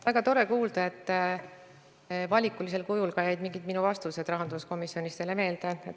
Väga tore kuulda, et valikulisel kujul jäid ka mõningad vastused, mis ma rahanduskomisjonis andsin, teile meelde.